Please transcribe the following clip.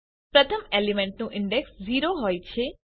પ્રથમ એલિમેન્ટનું ઇન્ડેક્સ 0 હોય છે